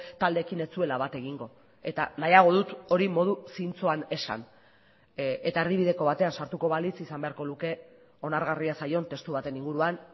taldeekin ez zuela bat egingo eta nahiago dut hori modu zintzoan esan eta erdibideko batean sartuko balitz izan beharko luke onargarria zaion testu baten inguruan